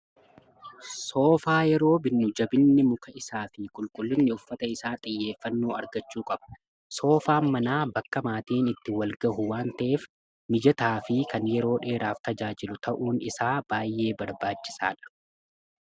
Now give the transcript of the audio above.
soofaa yeroo binnu jabinni muka isaa fi qulqullinni uffata isaa xiyyeeffannoo argachuu qabu soofaa manaa bakka maatiin itti walgahu waan ta'eef mijataa fi kan yeroo dheeraaf tajaajilu ta'uun isaa baay'ee barbaachisaa dha.